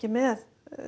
með